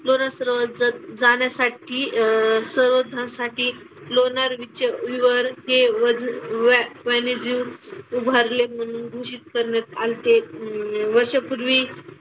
लोणार सरोवर जर जाण्यासाठी अह सरोवरासाठी लोणारचे विवर उभारले म्हणून घोषित करण्यात आल्ते. अह वर्षांपूर्वी,